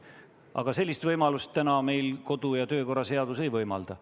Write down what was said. Aga sellist võimalust täna meie kodu- ja töökorra seadus ei võimalda.